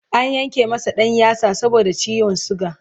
an Yanke masa ɗan yatsa saboda ciwon suga